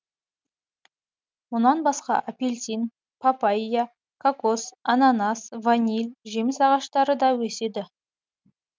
мұнан басқа апельсин папайя кокос ананас ваниль жеміс ағаштары да өседі